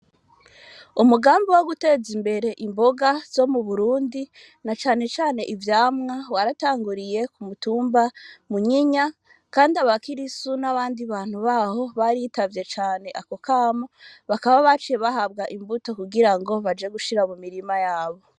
Umugambi wo guteza imbere imboga zo mu Burundi na cane cane ivyamwa waratanguriye ku mutumba wa Kinyinya kandi aba kirisu n'abandi bantu baho baritavye cane ako kamo bakaba baciye bahabwa imbuto kugira baje gushir mu mirima yabo.